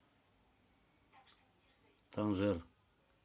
танжер